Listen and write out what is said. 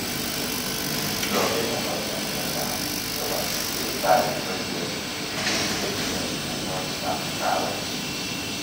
Professionals che chang' chepo siptali, koripe piil che tinye mianwokiikap kawek